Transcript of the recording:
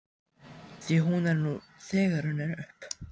Því hún er nú þegar runnin upp.